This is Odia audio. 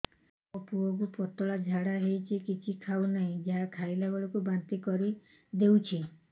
ମୋ ପୁଅ କୁ ପତଳା ଝାଡ଼ା ହେଉଛି କିଛି ଖାଉ ନାହିଁ ଯାହା ଖାଇଲାବେଳକୁ ବାନ୍ତି କରି ଦେଉଛି